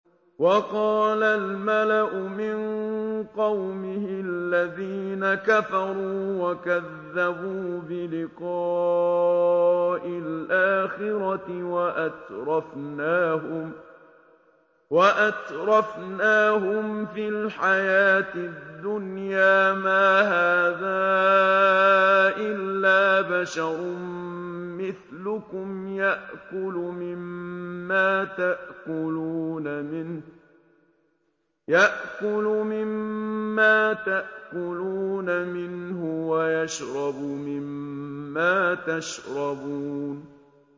وَقَالَ الْمَلَأُ مِن قَوْمِهِ الَّذِينَ كَفَرُوا وَكَذَّبُوا بِلِقَاءِ الْآخِرَةِ وَأَتْرَفْنَاهُمْ فِي الْحَيَاةِ الدُّنْيَا مَا هَٰذَا إِلَّا بَشَرٌ مِّثْلُكُمْ يَأْكُلُ مِمَّا تَأْكُلُونَ مِنْهُ وَيَشْرَبُ مِمَّا تَشْرَبُونَ